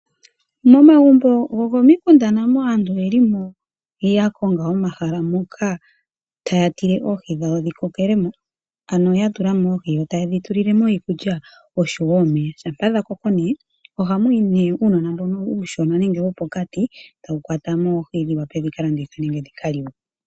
Momagumbo gomo mikunda aantu nayo oye limo ya konga omahala moka ta ya tile oohi dhawo dhi kokelemo, ano ya tulamo oohi yo ta ye dhi tulilemo iikulya osho woo omeya. Shampa dha koko ne, oha mu yi ne ujnona mbono iushona nenge wopokati, ta wu kwatamo oohi ndhi wape dhi ka landithwe nenge dhi ka liwe.